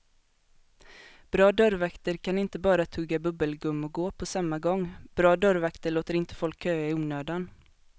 Bra dörrvakter kan inte bara tugga bubbelgum och gå på samma gång, bra dörrvakter låter inte folk köa i onödan.